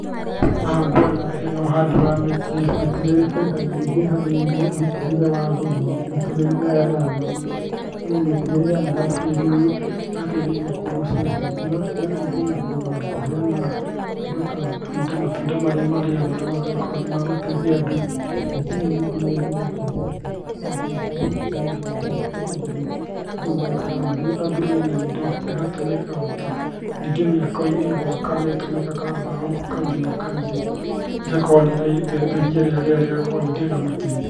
Haha ngũona hena ũhandi wa mĩtĩ. Mĩtĩ nĩ ĩrĩ baida nyingĩ harĩ mĩtũrĩre ya andũ, ona mĩtũrĩre-inĩ ya nyamũ. Nĩamũ mĩtĩ nĩ ĩheanaga kĩrũrũ, ĩgateithĩrĩria kũgũcĩrĩria mbura, ĩgateithĩrĩrĩa ona kũheana indo ta matunda, matunda marĩa marĩagwo na magagĩkorwo nĩ ma gũteithia andũ. Mĩtĩ ĩno ningĩ nĩ yendagio ĩkahe mwendia mbaũ, ikahe andũ mbeca, andũ magaikara marĩ andũ mena indo. Nĩngĩ mĩako-ini nĩ ĩtũmĩkaga mbao kaingĩ na kaingĩ na ĩgakorwo nĩ ĩratheria rĩera rĩgakorwo rĩ rĩega makĩrĩa.